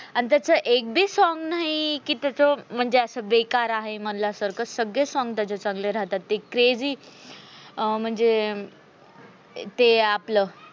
अन त्याचा एक बी song नाही की त्याचअसं बेकार आहे. मणल्या सारख सगळे song त्याचे चांगले राहतात ते crazy अं म्हणजे ते आपलं.